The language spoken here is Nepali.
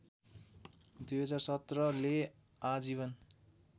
२०१७ ले आजीवन